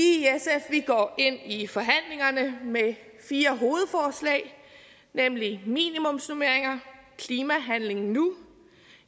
i forhandlingerne med fire hovedforslag nemlig minimumsnormeringer klimahandling nu